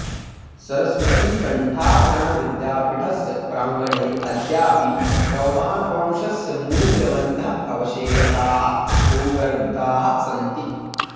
सरस्वतीकण्ठाभरणविद्यापीठस्य प्राङ्गणे अद्यापि चौहानवंशस्य मूल्यवन्तः अवशेषाः भूगर्भिताः सन्ति